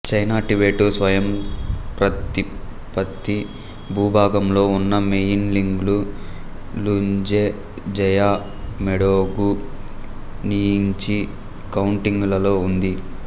China Tibet స్వయంప్రతిపత్తి భూభాగంలో ఉన్నమెయిన్లింగు లున్జే జాయు మెడోగు నియింగ్చి కౌంటీలలో ఉంది